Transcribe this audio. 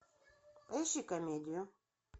поищи комедию